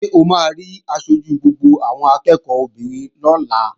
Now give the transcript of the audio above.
Ṣé o máa rí aṣojú gbogbo àwọn akẹ́ẹ̀kọ́ obìnrin lọ́la?